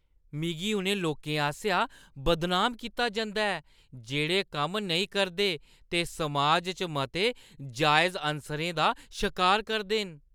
मिगी उ'नें लोकें आसेआ बदनाम कीता जंदा ऐ जेह्ड़े कम्म नेईं करदे ते समाज च मते जायज़ अनसरें दा शकार करदे न।